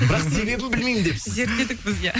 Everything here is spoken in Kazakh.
бірақ себебін білмеймін депсіз зерттедік біз иә